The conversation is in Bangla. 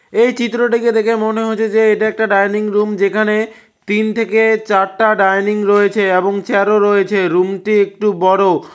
এই চিত্রটিকে দেখে মনে হচ্ছে যে এটা একটা ডাইনিং রুম যেখানে তিন থেকে চারটা ডাইনিং রয়েছে এবং চেয়ারও রয়েছে রুমটি একটু বড়।